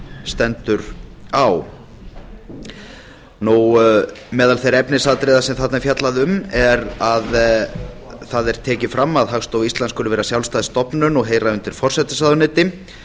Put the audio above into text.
stendur á meðal þeirra efnisatriða sem þarna er fjallað um er að það er tekið fram að hagstofa íslands skuli vera sjálfstæð stofnun og heyra undir forsætisráðuneyti